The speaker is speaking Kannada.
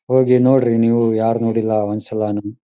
ಹೋಗಿ ನೋಡ್ರಿ ನೀವು ಯಾರ್ನೋಡಿಲ್ಲ ಒಂದ್ಸಲಾನು.